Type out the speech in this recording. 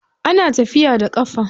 Ana tafiya da ƙafa.